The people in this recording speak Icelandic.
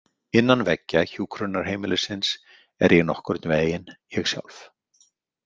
Innan veggja hjúkrunarheimilisins er ég nokkurn veginn ég sjálf.